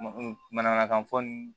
Manamanakan fɔ ni